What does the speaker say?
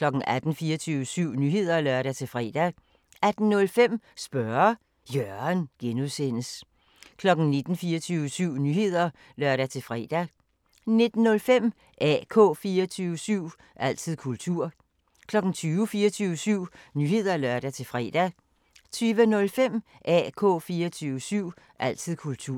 18:00: 24syv Nyheder (lør-fre) 18:05: Spørge Jørgen (G) 19:00: 24syv Nyheder (lør-fre) 19:05: AK 24syv – altid kultur 20:00: 24syv Nyheder (lør-fre) 20:05: AK 24syv – altid kultur